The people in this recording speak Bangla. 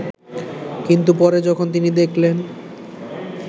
কিন্তু পরে যখন তিনি দেখলেন